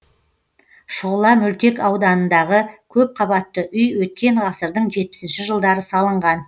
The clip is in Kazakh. шұғыла мөлтек ауданындағы көпқабатты үй өткен ғасырдың жетпісінші жылдары салынған